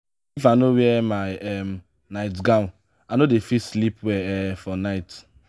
if i no wear my um night-gown i no dey fit sleep well um for night.